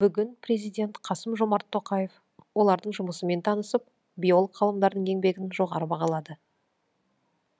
бүгін президент қасым жомарт тоқаев олардың жұмысымен танысып биолог ғалымдардың еңбегін жоғары бағалады